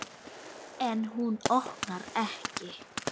En hún opnar ekki.